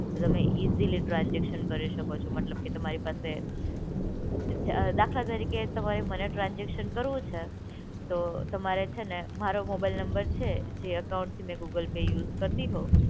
તમે easily transaction કરી શકો છો મતલબ કે તમારી પાસે. દાખલા તરીકે તમારે મને ટ્રાન્સઝેકશન કરવું છે, તો તમારે છે ને મારો મોબાઈલ નંબર છે જે અકાઉન્ટથી મેં ગૂગલ પે યુઝ કરતી હોવ.